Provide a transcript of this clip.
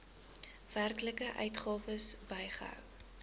werklike uitgawes bygehou